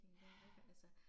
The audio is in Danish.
Ja